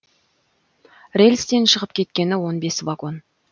рельстен шығып кеткені он бес вагон